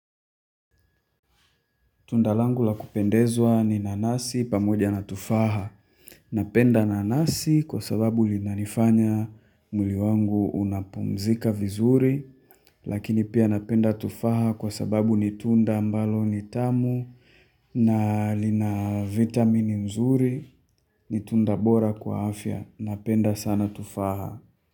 Tunda langu la kupendezwa ni nanasi pamoja na tufaha. Napenda nanasi kwa sababu lina nifanya mwili wangu unapumzika vizuri. Lakini pia napenda tufaha kwa sababu nitunda ambalo nitamu na lina vitamini nzuri. Nitunda bora kwa afya. Napenda sana tufaha.